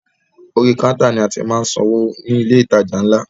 Orí kántà ni a ti máa ń san owó ní ilé ìtajà ńlá.